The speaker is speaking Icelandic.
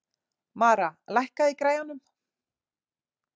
Mara, lækkaðu í græjunum.